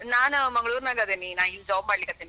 ನಾನ್ ಮಂಗಳೂರ್ನಾಗ್ ಅದಿನಿ, ನಾ ಇಲ್ಲಿ job ಮಾಡಲಿಕ್ ಹತ್ತೀನಿ.